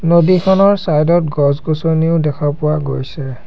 নদীখনৰ চাইড ত গছ গছনিও দেখা পোৱা গৈছে।